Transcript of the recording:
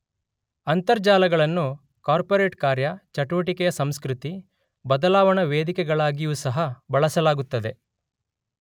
ಅಂತರ್ಜಾಲಗಳನ್ನು corporate ಕಾರ್ಯ, ಚಟುವಟಿಕೆಯ ಸಂಸ್ಕೃತಿ, ಬದಲಾವಣಾ ವೇದಿಕೆಗಳಾಗಿಯೂ ಸಹ ಬಳಸಲಾಗುತ್ತದೆ.